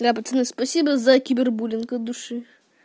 бля пацаны спасибо за кибербуллинг от души